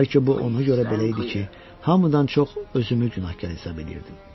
Bəlkə bu ona görə belə idi ki, hamıdan çox özümü günahkar hesab eləyirdim.